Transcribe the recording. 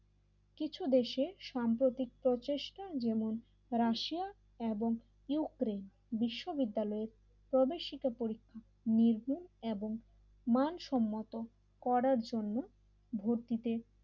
কিছু দেশের সাম্প্রতিক প্রতিষ্ঠা যেমন রাশিয়া এবং ইউক্রেন বিশ্ববিদ্যালয় প্রবেশিকা পরীক্ষা নির্ভুল এবং মানসম্মত করার জন্য ভর্তিতে